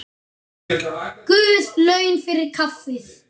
Guð laun fyrir kaffið.